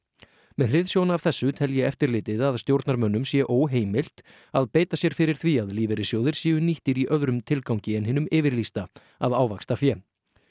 með hliðsjón af þessu telji eftirlitið að stjórnarmönnum sé óheimilt að beita sér fyrir því að lífeyrissjóðir séu nýttir í öðrum tilgangi en hinum yfirlýsta að ávaxta fé